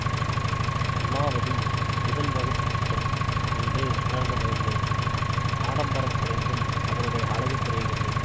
இமாவதி முதல் வகுப்பு பெண் என்று உணர்ந்து மகிழ்ந்தேன் ஆடம்பரம் குறைந்தும் அவளுடைய அழகு குறையவில்லை